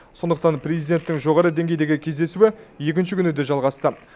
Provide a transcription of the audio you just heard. сондықтан президенттің жоғары деңгейдегі кездесуі екінші күні де жалғасты